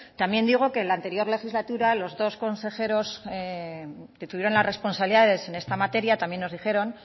también digo que en la anterior legislatura los dos consejeros que tuvieron las responsabilidades en esta materia también nos dijeron